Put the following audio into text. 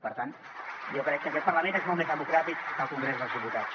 per tant jo crec que aquest parlament és molt més democràtic que el congrés dels diputats